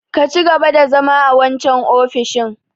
Ka cigaba da zama a wancan ofishin!